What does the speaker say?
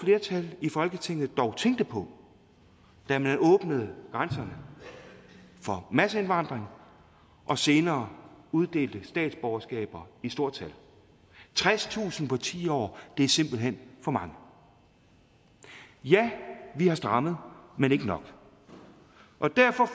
flertal i folketinget dog tænkte på da man åbnede grænserne for masseindvandring og senere uddelte statsborgerskaber i stort tal tredstusind på ti år er simpelt hen for mange ja vi har strammet men ikke nok og derfor